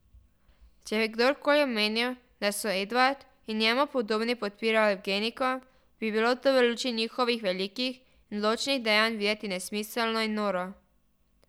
Če bi kdorkoli omenil, da so Edvard in njemu podobni podpirali evgeniko, bi bilo to v luči njihovih velikih in odločnih dejanj videti nesmiselno in noro.